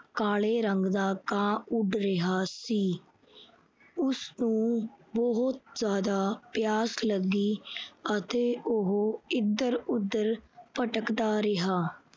ਕਾਲੇ ਰੰਗ ਦਾ ਕਾਂ ਉੱਡ ਰਿਹਾ ਸੀ। ਉਸਨੂੰ ਬਹੁਤ ਜਿਆਦਾ ਪਿਆਸ ਲੱਗੀ ਅਤੇ ਉਹ ਇਧਰ-ਉਧਰ ਭਟਕਦਾ ਰਿਹਾ।